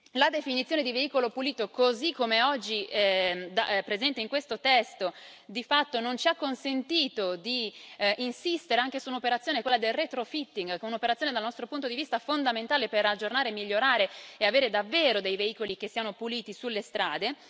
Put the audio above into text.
La definizione di veicolo pulito, così come è oggi presente in questo testo, di fatto non ci ha consentito di insistere anche su un'operazione, quella del retrofitting che è un'operazione, dal nostro punto di vista, fondamentale per aggiornare, migliorare e avere davvero dei veicoli che siano puliti sulle strade.